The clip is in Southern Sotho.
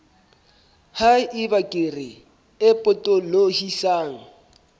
ha eba kere e potolohisang